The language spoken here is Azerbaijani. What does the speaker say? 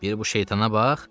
Bir bu şeytana bax.